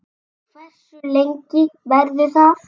Hversu lengi verður það?